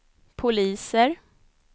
poliser